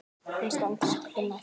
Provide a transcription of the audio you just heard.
Hún stendur ekki fyrir neitt.